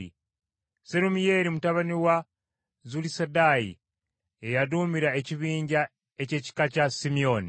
Serumiyeeri mutabani wa Zulisadaayi ye yaduumira ekibinja ky’ekika kya Simyoni,